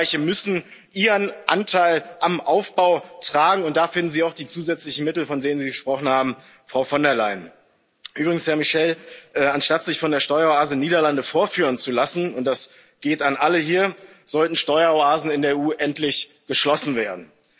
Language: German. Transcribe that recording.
Superreiche müssen ihren Anteil am Aufbau tragen, und da finden Sie auch die zusätzlichen Mittel, von denen Sie gesprochen haben, Frau von der Leyen. Übrigens, Herr Michel, anstatt sich von der Steueroase Niederlande vorführen zu lassen, und das geht an alle hier sollten Steueroasen in der EU endlich geschlossen werden.